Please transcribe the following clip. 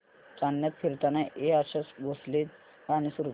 चांदण्यात फिरताना हे आशा भोसलेंचे गाणे सुरू कर